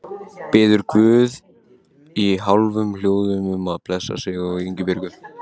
Biður guð í hálfum hljóðum um að blessa sig og Ísbjörgu.